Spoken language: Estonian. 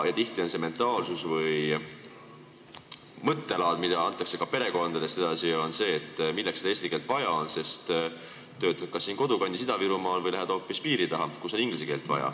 Tihti on see mentaalsus või mõttelaad, mida antakse ka perekonnas edasi, selline, et milleks seda eesti keelt vaja on, sest sa töötad kas kodukandis Ida-Virumaal või lähed hoopis piiri taha, kus on vaja inglise keelt.